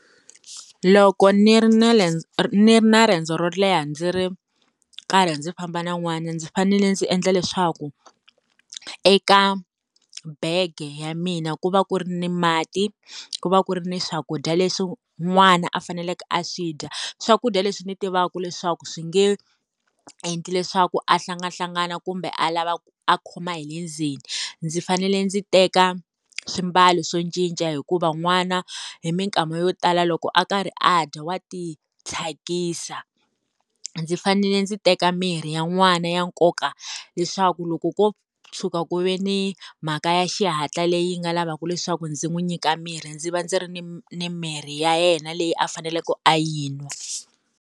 Loko ni ri na ni ri na riendzo ro leha ndzi ri karhi ndzi famba na n'wana ndzi fanele ndzi endla leswaku eka bege ya mina ku va ku ri ni mati, ku va ku ri ni swakudya leswi n'wana a faneleke a swi dya swakudya leswi ni tivaka leswaku swi nge endli leswaku a hlangahlangana kumbe a lava a khoma hi le ndzeni ndzi fanele ndzi teka swimbalo swo cinca hikuva n'wana hi minkama yo tala loko a karhi a dya wa ti thyakisa, ndzi fanele ndzi teka mirhi ya n'wana ya nkoka leswaku loko ko tshuka ku ve ni mhaka ya xihatla leyi nga lavaka leswaku ndzi n'wi nyika mirhi ndzi va ndzi ri ni ni mirhi ya yena leyi a faneleke a yi n'wa.